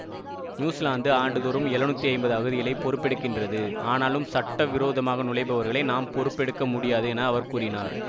New Zealand ஆண்டுதோறும் எழுநூற்றி ஐம்பது அகதிகளை பொறுப்பெடுக்கின்றது ஆனாலும் சட்டவிரோதமாக நுழைபவர்களை நாம் பொறுப்பெடுக்க முடியாது என அவர் கூறினார்